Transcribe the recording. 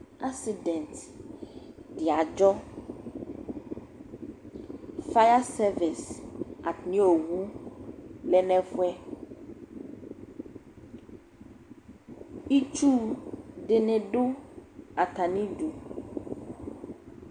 accident di adzɔ, fire service atami ɔwʋ lɛnʋ ɛƒʋɛ, itsʋ dini dʋ atami idʋ